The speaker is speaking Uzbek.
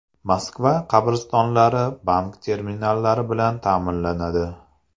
Moskva qabristonlari bank terminallari bilan ta’minlanadi.